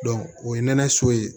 o ye nɛnɛ so ye